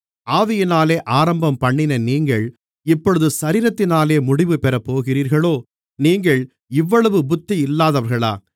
ஆவியினாலே ஆரம்பம்பண்ணின நீங்கள் இப்பொழுது சரீரத்தினாலே முடிவு பெறப்போகிறீர்களோ நீங்கள் இவ்வளவு புத்தி இல்லாதவர்களா